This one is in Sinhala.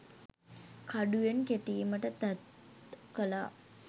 කඩුවෙන් කෙටීමට තැත් කළා